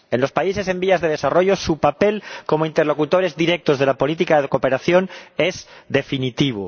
En los países en desarrollo su papel como interlocutores directos de la política de cooperación es definitivo.